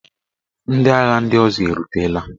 Ndị agha ndị ọzọ erutela?